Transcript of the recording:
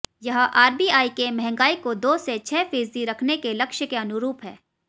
यह आरबीआई के महंगाई को दो से छह फीसद रखने के लक्ष्य के अनुरूप है